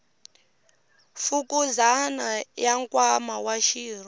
fukuzana ya nkwama wa xirho